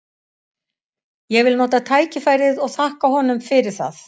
Ég vil nota tækifærið og þakka honum fyrir það.